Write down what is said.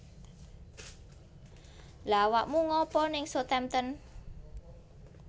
Lha awakmu ngapa ning Southampton?